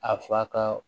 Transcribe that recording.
A fa ka